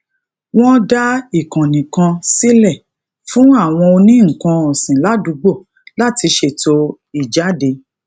won dá ìkànnì kan síle fún àwọn oní nnkan òsìn ládùúgbò láti ṣètò ìjade